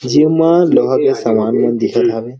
जूनना लोहा वाला सामान दिखत हवे।